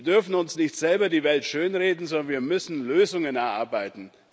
Wir dürfen uns nicht selber die Welt schönreden, sondern wir müssen Lösungen erarbeiten.